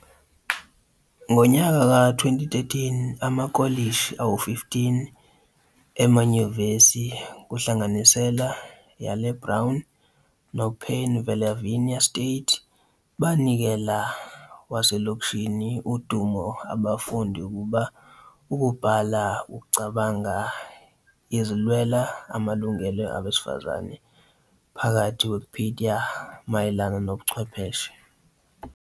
In kokuwa 2013, amakolishi 15 no emanyuvesi, kuhlanganise Yale, Brown, no Pennsylvania State, banikela wasekolishi udumo abafundi ukuba 'ukubhala ukucabanga ezilwela amalungelo abesifazane' phakathi Wikipedia mayelana nobuchwepheshe.